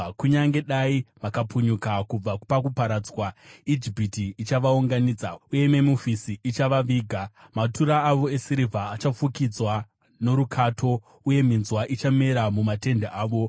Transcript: Kunyange dai vakapunyuka kubva pakuparadzwa, Ijipiti ichavaunganidza, uye Memufisi ichavaviga. Matura avo esirivha achafukidzwa norukato, uye minzwa ichamera mumatende avo.